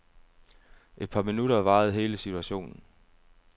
Et par minutter varede hele situationen.